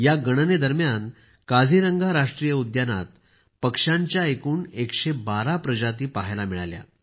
या गणनेदरम्यान काझीरंगा राष्ट्रीय उद्यानात पक्ष्यांच्या एकूण 112 प्रजाती पाहायला मिळाल्या